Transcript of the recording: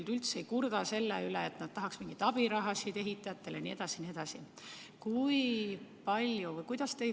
Nad üldse ei kurda selle üle, et nad tahaks ehitajatele mingisuguseid abirahasid jne.